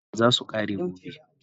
Data na zasu kare gobe